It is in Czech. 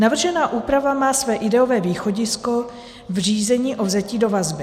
Navržená úprava má své ideové východisko v řízení o vzetí do vazby.